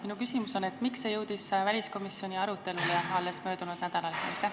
Miks see jõudis väliskomisjoni arutelule alles möödunud nädalal?